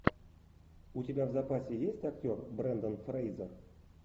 у тебя в запасе есть актер брендан фрейзер